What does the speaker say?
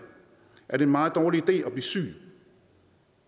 er det en meget dårlig idé at blive syg